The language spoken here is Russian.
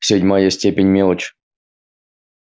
седьмая степень мелочь